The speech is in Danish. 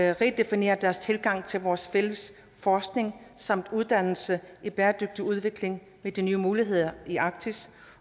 at redefinere deres tilgang til vores fælles forskning samt uddannelse i bæredygtig udvikling med de nye muligheder i arktis